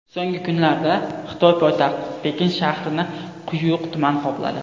So‘nggi kunlarda Xitoy poytaxti Pekin shahrini quyuq tutun qopladi.